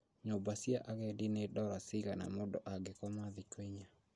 Nyũmba cia agendi nĩ dora cigana mũndũ angĩkoma thikũ inya